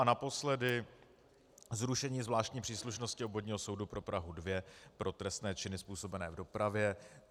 A naposledy zrušení zvláštní příslušnosti Obvodního soudu pro Prahu 2 pro trestné činy způsobené v dopravě.